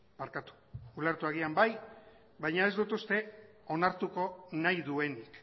barkatu ulertu agian bai baina ez dut uste onartuko nahi duenik